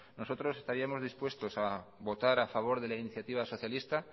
nosotros estaríamos dispuestos a votar a favor de la iniciativa socialista